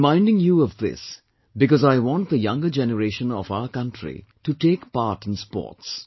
I am reminding you of this because I want the younger generation of our country to take part in sports